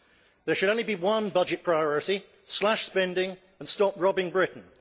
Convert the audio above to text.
There should be only one budget priority slash spending and stop robbing Britain.